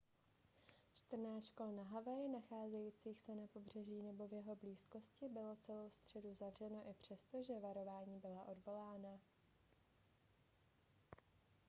čtrnáct škol na havaji nacházejících se na pobřeží nebo v jeho blízkosti bylo celou středu zavřeno i přesto že varování byla odvolána